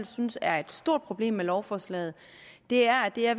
synes er et stort problem med lovforslaget er er